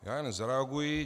Já jen zareaguji.